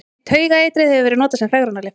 Taugaeitrið hefur verið notað sem fegrunarlyf.